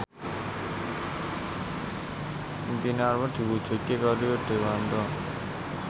impine Anwar diwujudke karo Rio Dewanto